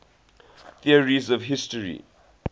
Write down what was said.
theories of history